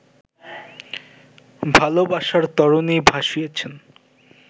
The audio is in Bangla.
ভালোবাসার তরণি ভাসিয়েছেন